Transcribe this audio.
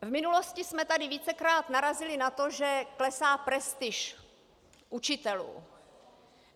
V minulosti jsme tady vícekrát narazili na to, že klesá prestiž učitelů.